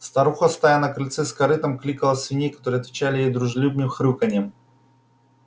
старуха стоя на крыльце с корытом кликала свиней которые отвечали ей дружелюбным хрюканьем